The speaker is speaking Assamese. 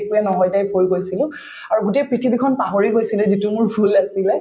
একোয়ে নহয় type হৈ গৈছিলো আৰু গোটেই পৃথিৱীখন পাহৰি গৈছিলো যিটো মোৰ ভূল আছিলে